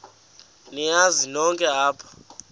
niyazi nonk apha